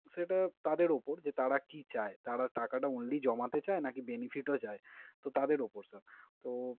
সেটা তাঁদের উপর যে তাঁরা কি চায়। তাঁরা টাকাটা only জমাতে চায় নাকি ও benefit ও চায়? তো তাঁদের উপর sir । তো